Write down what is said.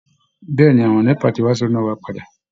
Bẹ́ẹ̀ ni, àwọn NEPA ti wá so iná wa padà